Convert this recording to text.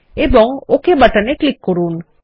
এবংওকে button এ click করুন